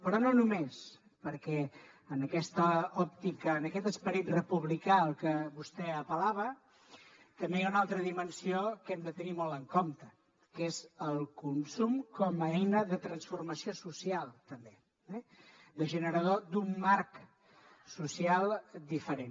però no només perquè en aquesta òptica en aquest esperit republicà al que vostè apel·lava també hi ha una altra dimensió que hem de tenir molt en compte que és el consum com a eina de transformació social també eh de generador d’un marc social diferent